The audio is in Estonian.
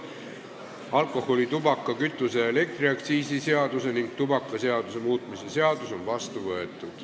Alkoholi-, tubaka-, kütuse- ja elektriaktsiisi seaduse ning tubakaseaduse muutmise seadus on vastu võetud.